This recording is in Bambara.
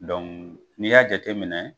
n'i y'a jateminɛ